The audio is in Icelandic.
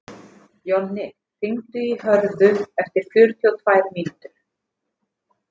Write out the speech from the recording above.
Jonni, hringdu í Hörðu eftir fjörutíu og tvær mínútur.